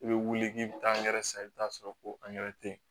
I bɛ wuli k'i bɛ taa angɛrɛ san i bɛ taa'a sɔrɔ ko tɛ yen